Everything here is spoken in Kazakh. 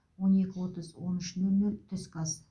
он екі отыз он үш нөл нөл түскі ас